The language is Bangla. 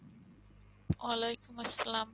ওলাইকুম আসসালাম